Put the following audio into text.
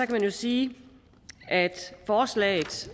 man jo sige at forslaget